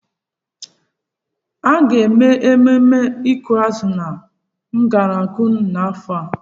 A ga-eme mmemme ịkụ azụ ndi Argungu n'afọ a?